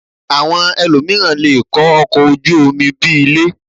Àwọn elòmíràn lè kọ́ ọkọ̀ ojú omi bí i ilé